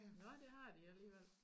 Nåh det har de alligevel